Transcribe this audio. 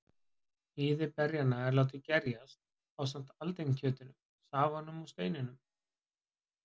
Hýði berjanna er látið gerjast, ásamt aldinkjötinu, safanum og steinunum.